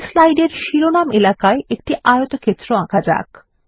এই স্লাইডের শিরোনাম এলাকায় একটি আয়তক্ষেত্র আঁকা যাক